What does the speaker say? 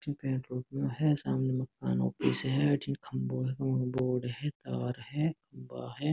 जे petrol pump है सामने मकान ऑफिस है अठे खम्बो है रोड है तार है खम्बा है।